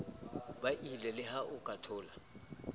buile leha o ka thola